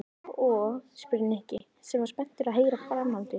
Og? spurði Nikki sem var spenntur að heyra framhaldið.